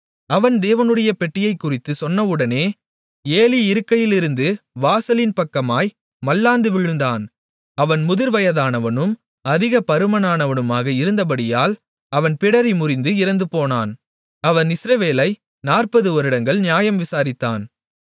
அவன் தேவனுடைய பெட்டியைக் குறித்துச் சொன்னவுடனே ஏலி இருக்கையிலிருந்து வாசலின் பக்கமாய் மல்லாந்து விழுந்தான் அவன் முதிர்வயதானவனும் அதிக பருமனானவனுமாக இருந்தபடியால் அவன் பிடரி முறிந்து இறந்துபோனான் அவன் இஸ்ரவேலை 40 வருடங்கள் நியாயம் விசாரித்தான்